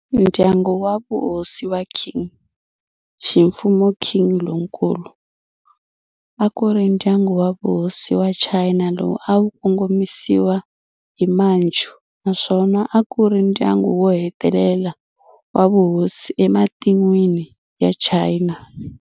Ndyangu wa vuhosi wa Qing, ximfumo Qing Lonkulu, a ku ri ndyangu wa vuhosi wa China lowu a wu kongomisiwa hi Manchu naswona a ku ri ndyangu wo hetelela wa vuhosi ematin'wini ya China.